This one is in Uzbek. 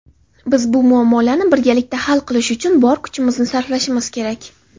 biz bu muammolarni birgalikda hal qilish uchun bor kuchimizni sarflashimiz kerak.